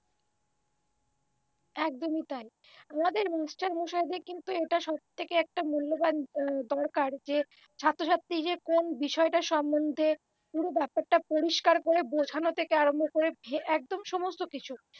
একদমই তাই আমাদের মাস্টারমশাইদের কিন্তু এটা সবথেকে একটা মূল্যবান দরকার যে ছাত্রছাত্রী যে কোন বিষয়টা সম্বন্ধে পুরো ব্যাপারটা পরিষ্কার করে বোঝানো থেকে আরম্ভ করে একদম সমস্ত কিছু